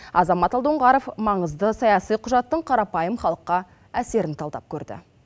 азамат алдұңғаров маңызды саяси құжаттың қарапайым халыққа әсерін талдап көрді